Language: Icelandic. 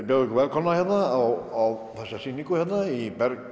bjóða ykkur velkomna á þessa sýningu hérna í Berg